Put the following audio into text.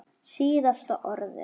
Síðasta orðið.